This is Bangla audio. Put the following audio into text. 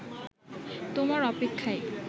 তোমার অপেক্ষায়